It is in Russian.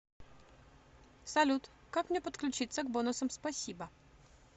салют как мне подключиться к бонусам спасибо